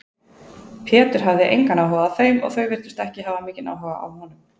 Pétur hafði engan áhuga á þeim og þau virtust ekki hafa mikinn áhuga á honum.